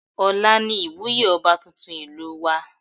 Ọ̀la ni ìwúyé ọba tuntun ìlú wa